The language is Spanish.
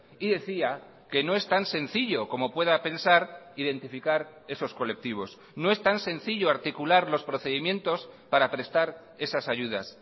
y decía que no es tan sencillo como pueda pensar identificar esos colectivos no es tan sencillo articular los procedimientos para prestar esas ayudas